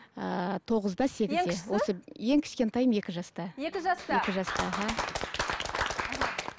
ыыы тоғызда сегізде ең кішкентайым екі жаста екі жаста екі жаста аха